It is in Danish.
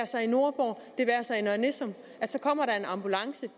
sig i nordborg det være sig i nørre nissum kommer der en ambulance